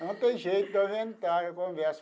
Não tem jeito de eu inventar a conversa.